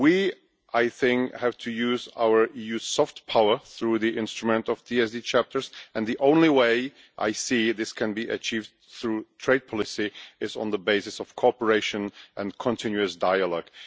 We have to use our EU soft power through the instrument of TSD chapters, and the only way I see that this can be achieved through trade policy is on the basis of cooperation and continuous dialogue.